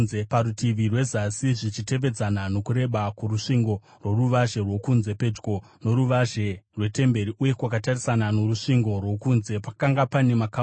Parutivi rwezasi zvichitevedzana nokureba kworusvingo rworuvazhe rwokunze, pedyo noruvazhe rwetemberi uye kwakatarisana norusvingo rwokunze, pakanga pane makamuri